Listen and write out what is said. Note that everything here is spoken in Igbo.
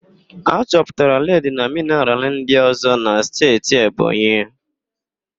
A chọpụtara ledi na mịnaral ndịọ̀zọ́ n'Steeti Ebonyi